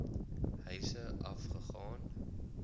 huise af gegaan